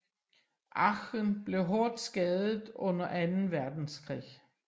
Aachen blev hårdt skadet under Anden Verdenskrig